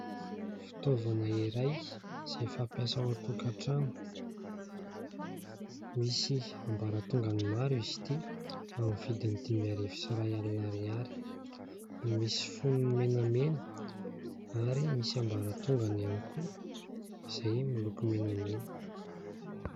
Fitaovana iray izay fampiasa ao an-tokantrano. Misy ambaratongany maro izy ity amin'ny vidiny dimy arivo sy iray alina ariary. Misy fonony menamena ary misy ambaratongany ihany koa izay miloko menamena.